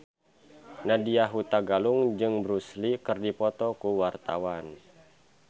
Nadya Hutagalung jeung Bruce Lee keur dipoto ku wartawan